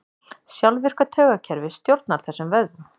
Sjálfvirka taugakerfið stjórnar þessum vöðvum.